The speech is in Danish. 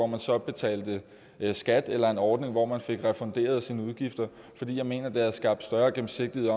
man så betalte skat eller en ordning hvor man så fik refunderet sine udgifter fordi jeg mener ville have skabt større gennemsigtighed